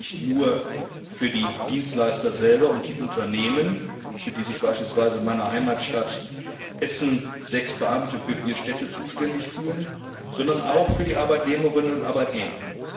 Aber dies nicht nur für die Dienstleister selber und die Unternehmen, für die sich beispielsweise in meiner Heimatstadt Essen sechs Beamte für vier Städte zuständig fühlen, sondern auch für die Arbeitnehmerinnen und Arbeitnehmer.